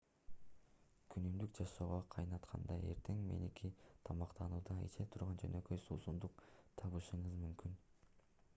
күнүмдүк жашоого кайтканда эртең мененки тамактануууда иче турган жөнөкөй суусундук табышыңыз мүмкүн